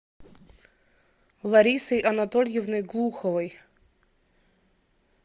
ларисой анатольевной глуховой